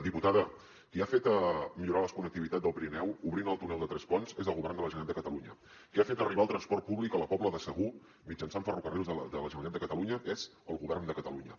diputada qui ha fet millorar la connectivitat del pirineu obrint el túnel de tresponts és el govern de la generalitat de catalunya qui ha fet arribar el transport públic a la pobla de segur mitjançant ferrocarrils de la generalitat de catalunya és el govern de catalunya